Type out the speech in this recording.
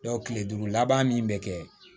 kile duuru laban min bɛ kɛ